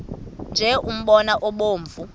nje umbona obomvu